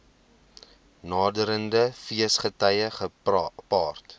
naderende feesgety gepaard